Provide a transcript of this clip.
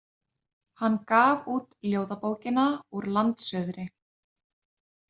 Hann gaf út ljóðabókina Úr landsuðri.